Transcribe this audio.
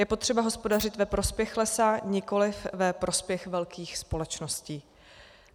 Je potřeba hospodařit ve prospěch lesa, nikoliv ve prospěch velkých společností.